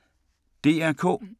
DR K